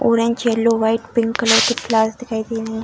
Orange yellow white pink colour के flowers दिखाई दे रहे हैं।